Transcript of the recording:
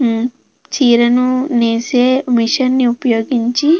మ్మ్ చీరను నేసే మిషన్ నీ ఉపయోగించి --